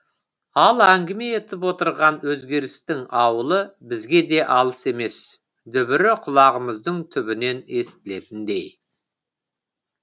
ал әңгіме етіп отырған өзгерістің ауылы бізге де алыс емес дүбірі құлағымыздың түбінен естілетіндей